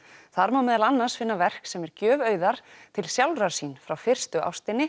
þar má meðal annars finna verk sem er gjöf Auðar til sjálfrar sín frá fyrstu ástinni